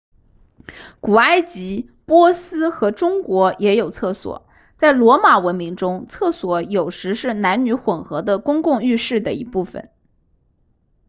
古埃及波斯和中国也有厕所在罗马文明中厕所有时是男女混合的公共浴室的一部分